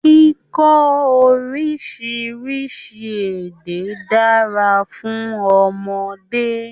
Kíkọ orísirísi èdè dára fún ọmọdé.